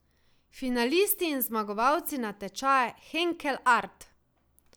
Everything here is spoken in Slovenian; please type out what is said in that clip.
Finalisti in zmagovalci natečaja Henkel Art.